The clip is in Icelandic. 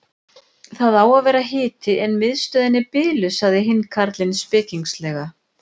Það á að vera hiti en miðstöðin er biluð sagði hinn karlinn spekingslega.